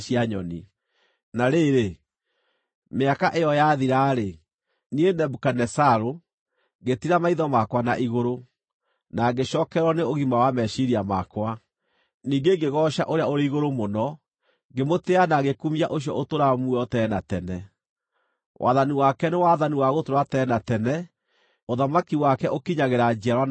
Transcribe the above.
Na rĩrĩ, mĩaka ĩyo yathira-rĩ, niĩ, Nebukadinezaru, ngĩtiira maitho makwa na igũrũ, na ngĩcookererwo nĩ ũgima wa meciiria makwa. Ningĩ ngĩgooca Ũrĩa-ũrĩ-Igũrũ-Mũno; ngĩmũtĩĩa na ngĩkumia ũcio ũtũũraga muoyo tene na tene. Wathani wake nĩ wathani wa gũtũũra tene na tene; ũthamaki wake ũkinyagĩra njiarwa na njiarwa.